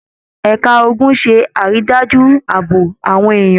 Ẹ̀ka ogun ṣé àrídájú ààbò àwọn èèyàn.